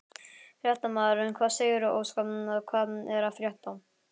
Fréttamaður: Hvað segirðu Óskar, hvað er að frétta?